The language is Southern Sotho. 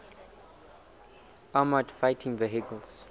armoured fighting vehicles